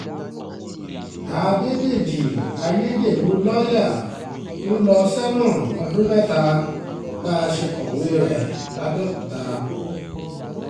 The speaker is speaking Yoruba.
àdédéjì ayédèrú lọ́ọ̀yà ń lọ sẹ́wọ̀n ọdún mẹ́ta bá a ṣe kọ̀wé rẹ̀ lápbẹ̀ọ́kúta